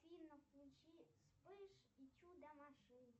афина включи вспыш и чудо машинки